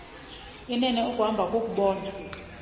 inene ukuhamba kukubona